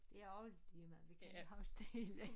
Det også ligemeget vi kan ikke huske det hele